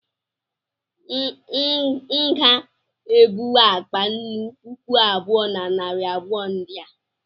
M nga ebuwu akpa nnù puku abụọ na narị abụọ ndị a